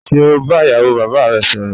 Ṣe o ba iyawo baba rẹ sọrọ?